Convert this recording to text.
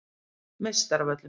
Meistaravöllum